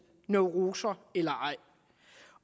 neuroser eller ej